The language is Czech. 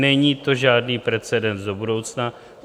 Není to žádný precedens do budoucna.